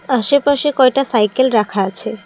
আশেপাশে কয়টা সাইকেল রাখা আছে।